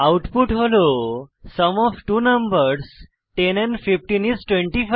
output হল sum of two numbers 10 and 15 is 25